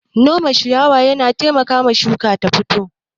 Nome ciyawa yana taimakawa shuka ta fito.